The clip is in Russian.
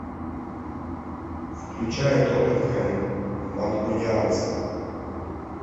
включай тоттенхэм манкунианцы